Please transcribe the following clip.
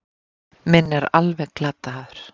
Minn er alveg glataður.